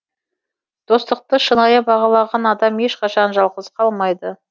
достықты шынайы бағалаған адам ешқашан жалғыз қалмайды